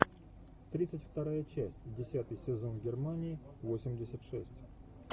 тридцать вторая часть десятый сезон германии восемьдесят шесть